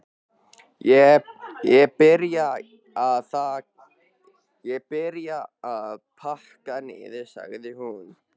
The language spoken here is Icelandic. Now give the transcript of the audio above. Ég byrja að pakka niður, sagði hún.